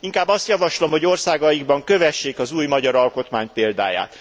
Inkább azt javaslom, hogy országaikban kövessék az új magyar alkotmány példáját.